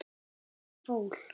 Stóra fól.